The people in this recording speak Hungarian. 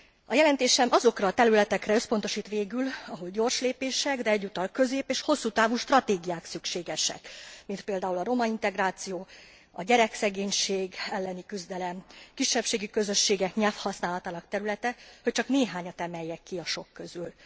A jelentésem azokra a területekre összpontosít végül, ahol gyors lépések, de egyúttal közép és hosszú távú stratégiák szükségesek, mint például a romaintegráció, a gyerekszegénység elleni küzdelem, kisebbségi közösségek nyelvhasználatának területe, hogy csak néhányat emeljek ki a sok közül.